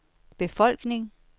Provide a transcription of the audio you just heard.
befolkning